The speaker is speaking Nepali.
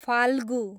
फाल्गु